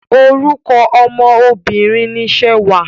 Orúkọ ọmọ Obìnrin ni Ṣewà.